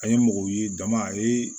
An ye mɔgɔw ye dama a ye